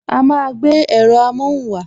A máa gbé èrọ amohun wa